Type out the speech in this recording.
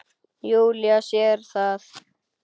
Júlía sér það.